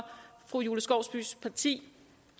fru julie skovsbys parti